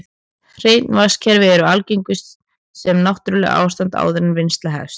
Hrein vatnskerfi eru algengust sem náttúrlegt ástand áður en vinnsla hefst.